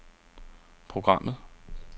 programmet